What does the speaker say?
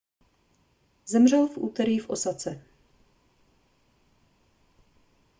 zemřel v úterý v osace